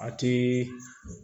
A ti